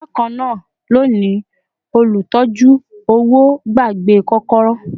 Bakana loni, olutọ̀ju-owo gbàgbé kokoro